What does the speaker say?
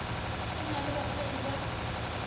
go na le basadi ba